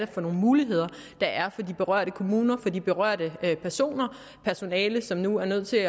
for nogle muligheder der er for de berørte kommuner for de berørte personer personalet som nu er nødt til at